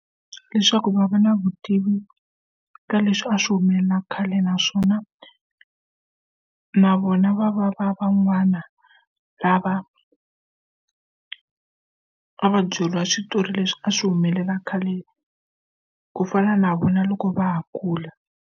Leswaku va va na vutivi ka leswi a swi humelela khale naswona na vona va va va van'wana lava a va byeriwa switori leswi a swi humelela khale ku fana na vona loko va ha kula.